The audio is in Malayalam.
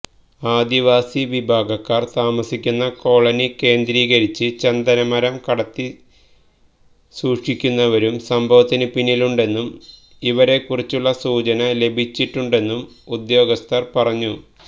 ആദിവാസി വിഭാഗക്കാർ താമസിക്കുന്ന കോളനി കേന്ദ്രീകരിച്ച് ചന്ദനമരം കടത്തി സൂക്ഷിക്കുന്നവരും സംഭവത്തിന് പിന്നിലുണ്ടെന്നും ഇവരെക്കുറിച്ചുള്ള സൂചന ലഭിച്ചിട്ടുണ്ടെന്നും ഉദ്യോഗസ്ഥർ പറഞ്ഞു